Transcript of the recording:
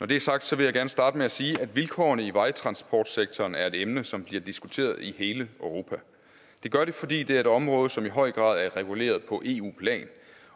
det er sagt vil jeg gerne starte med at sige at vilkårene i vejtransportsektoren er et emne som bliver diskuteret i hele europa det gør det fordi det er et område som i høj grad er reguleret på eu plan